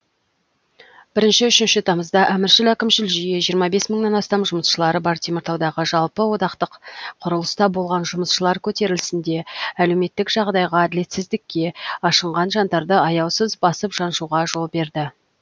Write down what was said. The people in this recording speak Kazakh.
бірінші үшінші тамызда әміршіл әкімшіл жүйе жиырма бес мыңнан астам жұмысшылары бар теміртаудағы жалпыодақтық құрылыста болған жұмысшылар көтерілісінде әлеуметтік жағдайға әділетсіздікке ашынған жандарды аяусыз басып жаншуға жол берді